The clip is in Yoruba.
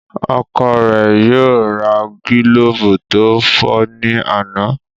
Ọkọ rẹ yóò ra gilobu to fọ ní àna.